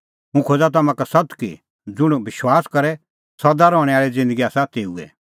हुंह खोज़ा तम्हां का सत्त कि ज़ुंण विश्वास करे सदा रहणैं आल़ी ज़िन्दगी आसा तेऊए